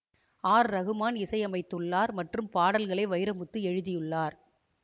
R Rahman இசை அமைத்துள்ளார் மற்றும் பாடல்களை வைரமுத்து எழுதியுள்ளார்